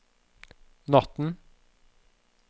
natten